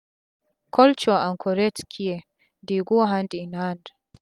culture and correct care dey go hand in hand